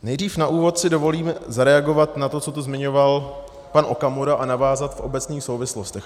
Nejdřív na úvod si dovolím zareagovat na to, co tu zmiňoval pan Okamura, a navázat v obecných souvislostech.